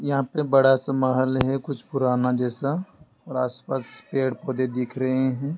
यहां पर बड़ा सा महल है कुछ पुराना जैसा और आसपास पेड़ पौधे दिख रहे हैं।